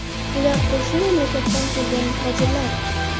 Ular qo‘shni mamlakatdan kelgan muhojirlar.